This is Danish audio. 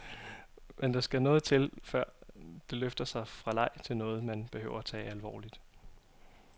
Men der skal noget til, før det løfter sig fra leg til noget, man behøver tage alvorligt.